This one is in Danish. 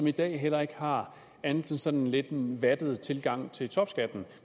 i dag heller ikke har andet end sådan en lidt vattet tilgang til topskatten